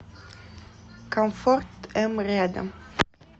комфорт м рядом